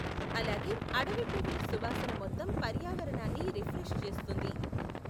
అలాగే, అడవి పువ్వుల సువాసన మొత్తం పర్యావరణాన్ని రిఫ్రెష్ చేస్తుంది.